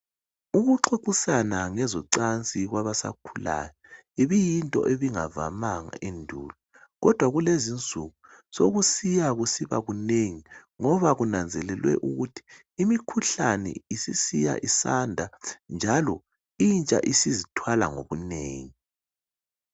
Ukuxoxisana ngezocansi kwabasakhulayo ibiyinto ebingavamanga endulo, kodwa kulezinsuku sokusiya kusiba kunengi ngoba kunanzelelwe ukuthi imikhuhlane isisiya isanda, njalo intsha isizithwala ngobunengi.